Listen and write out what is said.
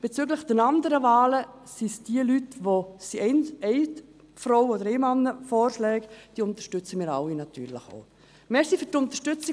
Bezüglich der anderen Wahlen sind es die vorgeschlagenen Leute – eine Frau und drei Männer –, die wir natürlich auch alle unterstützen.